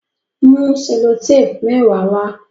Mú sellotape mẹwa wá!